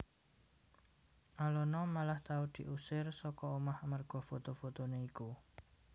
Alona malah tau diusir saka omah amarga foto fotoné iku